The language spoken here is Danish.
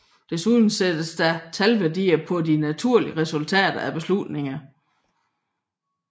Desuden sættes der talværdier på de mulige resultater af beslutningen